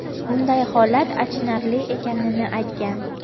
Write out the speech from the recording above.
bunday holat achinarli ekanini aytgan.